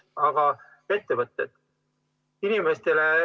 Aga ettevõtted?